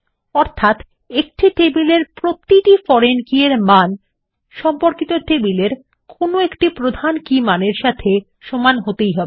অর্থাত একটি টেবিল এর প্রতিটি ফরেন কী এর মান সম্পর্কিত টেবিলের কোনো একটি প্রধান কী মানের সাথে সমান হতেই হবে